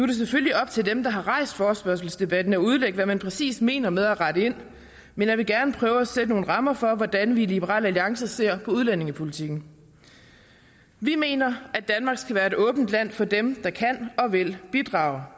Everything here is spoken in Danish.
det selvfølgelig op til dem der har rejst forespørgselsdebatten at udlægge hvad man præcis mener med at rette ind men jeg vil gerne prøve at sætte nogle rammer for hvordan vi i liberal alliance ser på udlændingepolitikken vi mener at danmark skal være et åbent land for dem der kan og vil bidrage og